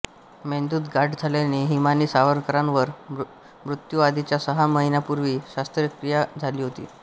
मेंदूत गाठ झाल्याने हिमानी सावरकरांवर मृत्यूआधीच्या सहा महिन्यांपूर्वी शस्त्रक्रिया झाली होती